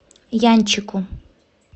янчику